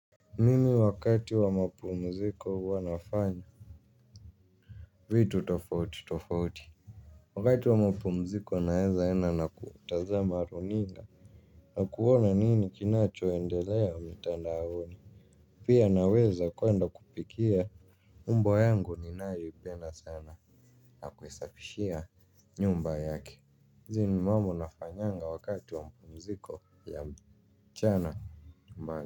Mimi wakati wa mapumziko huwa nafanya vitu tofauti tofauti. Wakati wa mapumziko naeza enda na kutazama runinga. Na kuona nini kinachoendelea mtandaoni. Pia naweza kwenda kupikia. Mbwa yangu ninayoipenda sana na kuisafishia nyumba yake hizi ni mambo nafanyanga wakati wa mapumziko ya mchana.